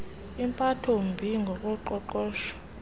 impatho mbi ngokoqoqosho